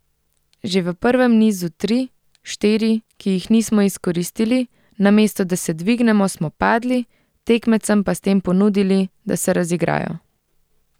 Že v prvem nizu tri, štiri, ki jih nismo izkoristili, namesto da se dvignemo, smo padli, tekmecem pa s tem ponudili, da se razigrajo.